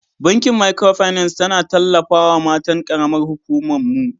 Bankin Micro finance tana tallafawa matan karamar huƙuman mu.